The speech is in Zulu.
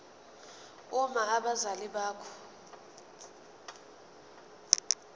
uma abazali bakho